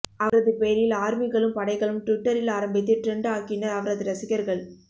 அவரது பெயரில் ஆர்மிகளும் படைகளும் டுவிட்டரில் ஆரம்பித்து டிரெண்ட் ஆக்கினர் அவரது ரசிகர்கள்